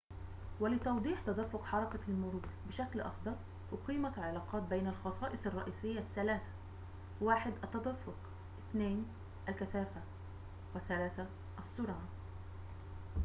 ولتوضيح تدفق حركة المرور بشكل أفضل، أقيمت علاقات بين الخصائص الرئيسية الثلاثة: 1 التدفق 2 الكثافة، و 3 السرعة